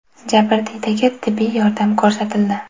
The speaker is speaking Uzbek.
Jabrdiydaga tibbiy yordam ko‘rsatildi.